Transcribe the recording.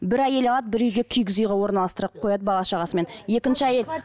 бір әйел алады бір үйге үйге орналастырып қояды бала шағасымен екінші әйел